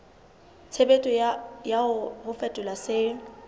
tshebetso ya ho fetola se